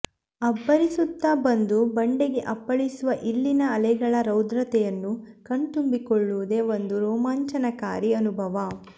ಅಬ್ಬರಿಸುತ್ತಾ ಬಂದು ಬಂಡೆಗೆ ಅಪ್ಪಳಿಸುವ ಇಲ್ಲಿನ ಅಲೆಗಳ ರೌದ್ರತೆಯನ್ನು ಕಣ್ತುಂಬಿಕೊಳ್ಳುವುದೇ ಒಂದು ರೋಮಾಂಚನಕಾರಿ ಅನುಭವ